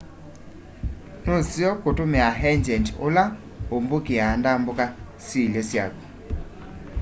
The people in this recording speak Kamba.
nuseo kutumia engyendi ula umbukiaa ndambuka syiilye syaku